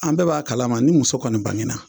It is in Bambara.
An bɛɛ b'a kalama ni muso kɔni bange na